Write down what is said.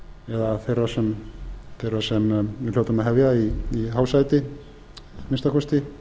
eða þeirra sem við hljótum að hefja í hásæti að minnsta kosti